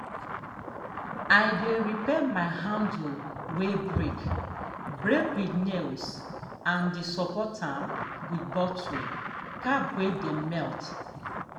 um i dey repair my handle way break break um with nails and dey support am with bottle cap way dem melt.